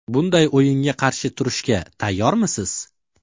Bunday o‘yinga qarshi turishga tayyormisiz?